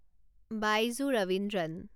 Baiju Raveendran